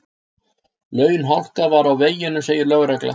Launhálka var á veginum segir lögregla